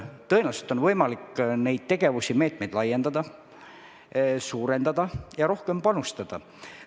Tõenäoliselt on võimalik neid tegevusi ja meetmeid laiendada, suurendada ja rohkem panustada.